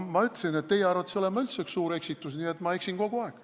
No ma ütlesin, et teie arvates olen ma üldse üks suur eksitus, nii et ma eksin kogu aeg.